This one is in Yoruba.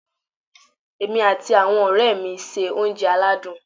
Èmi àti àwon òré mi n se oúnje aládùn